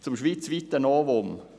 Zum schweizweiten Novum: